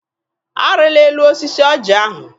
Arịla elu osisi ọjị ahụ!